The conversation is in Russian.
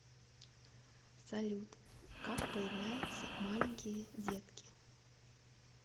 салют как появляются маленькие детки